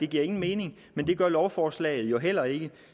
giver nogen mening men det gør lovforslaget jo heller ikke